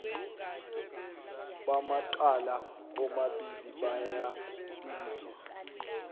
bamacala omabili bayabizwa